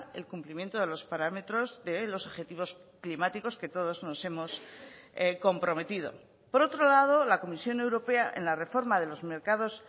el cumplimiento de los parámetros de los objetivos climáticos que todos nos hemos comprometido por otro lado la comisión europea en la reforma de los mercados